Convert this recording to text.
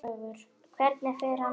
Hvernig fer annað fólk að?